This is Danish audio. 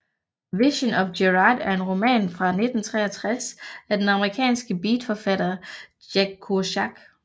Visions of Gerard er en roman fra 1963 af den amerikanske beatforfatter Jack Kerouac